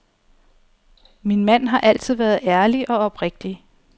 Min mand har altid været ærlig og oprigtig.